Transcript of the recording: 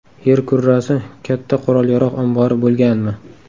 Yer kurrasi katta qurol-yarog‘ ombori bo‘lganmi?